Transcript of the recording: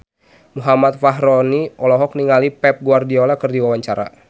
Muhammad Fachroni olohok ningali Pep Guardiola keur diwawancara